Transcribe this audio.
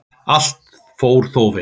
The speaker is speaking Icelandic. Allt fór þó vel.